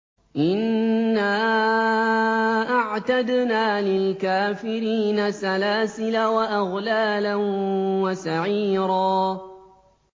إِنَّا أَعْتَدْنَا لِلْكَافِرِينَ سَلَاسِلَ وَأَغْلَالًا وَسَعِيرًا